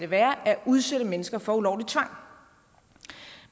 være at udsætte mennesker for ulovlig tvang